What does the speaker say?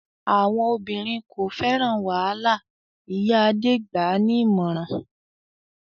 "Àwọn obìnrin kò fẹ́ràn wàhálà!" Ìyá Adé gbà á ní ìmọ̀ràn.